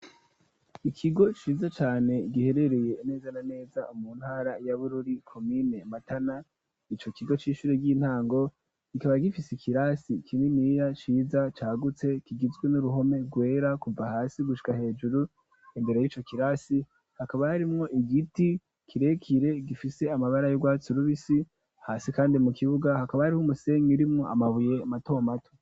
Ikigo ciza cane giherereye neza na neza mu ntara ya Bururi komine matana, ico kigo c'ishuri ry'intango kikaba gifise ikirasi kininiya ciza cagutse kigizwe n'uruhome rwera kuva hasi gushika hejuru. Imbere y'ico kirasi hakaba harimwo igiti kirekire gifise amabara y'urwatsi rubisi. Hasi kandi mu kibuga hakaba harimwo umusenyi urimwo amabuye mato mato.